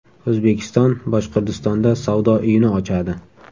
O‘zbekiston Boshqirdistonda savdo uyini ochadi.